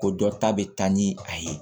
Ko dɔ ta bɛ taa ni a ye